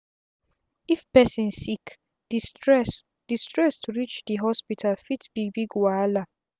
if person sick d stress d stress to reach d hospital fit be big wahala